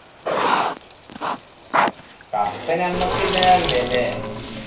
cup ഞമ്മക്ക് ഇള്ളതാ ല്ലേ